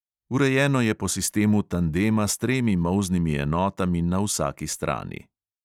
Urejeno je po sistemu tandema s tremi molznimi enotami na vsaki strani.